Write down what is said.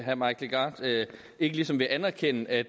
herre mike legarth ikke ligesom vil anerkende at